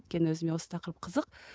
өйткені өзіме осы тақырып қызық